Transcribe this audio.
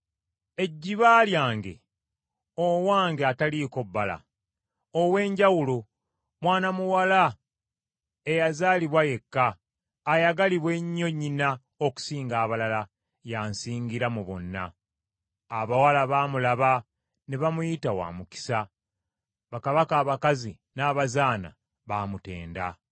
ejjiba lyange, owange ataliiko bbala, ow’enjawulo, mwana muwala eyazaalibwa yekka, ayagalibwa ennyo nnyina okusinga abalala, y’ansingira mu bonna. Abawala baamulaba ne bamuyita wa mukisa; bakabaka abakazi n’abazaana baamutenda.